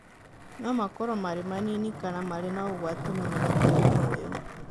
No makorũo marĩ manini kana marĩ na ũgwati mũnene kũrĩ mũoyo.